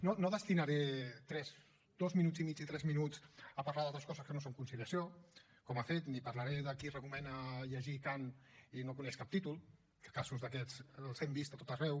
no destinaré tres dos minuts i mig i tres minuts a parlar d’altres coses que no són conciliació com ha fet ni parlaré de qui recomana llegir kant i no coneix cap títol que casos d’aquests els hem vist a tot arreu